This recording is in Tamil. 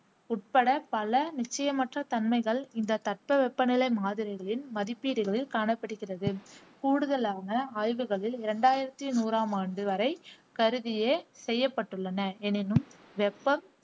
உட்பட பல நிச்சயமற்ற தன்மைகள் இந்த தட்பவெப்பநிலை மாதிரிகளின் மதிப்பீடுகளில் காணப்படுகிறது. கூடுதலான ஆய்வுகளில் இரண்டாயிரத்தி நூறாம் ஆண்டு வரை கருதியே செய்யப்பட்டுள்ளன எனினும், வெப்பம்